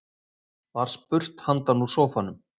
Var spurt handan úr sófanum.